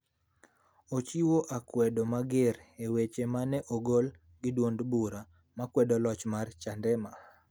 ochiwo akwedo mager weche ma ne ogol gi duond bura ma kwedo loch mar Chadema .